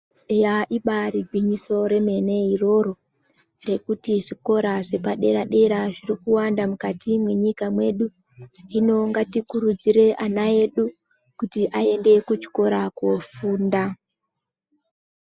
Eya ibari gwinyiso remene iroro rekuti zvikora zvepadera dera zvirikuwanda mukati mwenyika mwedu hino ngatikurudzire ana edu kuti aende kuchikora kofunda.